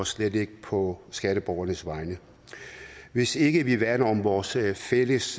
slet ikke på skatteborgernes vegne hvis ikke vi værner om vores fælles